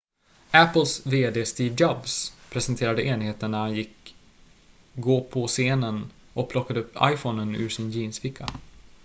apples vd steve jobs presenterade enheten när han gick gå på scenen och plockade upp iphonen ur sin jeansficka